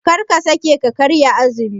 Karka sake ka karya azumi.